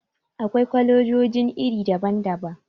Akwai kwalejojin iri daban-daban.